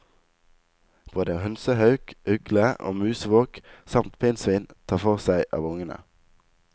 Både hønsehauk, ugle og musvåk samt pinnsvin tar for seg av ungene.